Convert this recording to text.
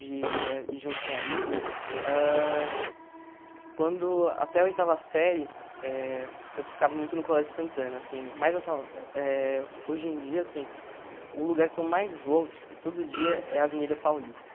de ir junto com amigos, ãh quando, até a oitava série, eh eu ficava muito no Colégio Santana, assim, mas eu tam eh hoje em dia, assim, o lugar que eu mais vou, tipo, todo dia é Avenida Paulista.